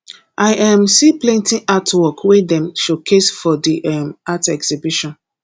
i um see plenty artwork wey dem showcase for di um art exhibition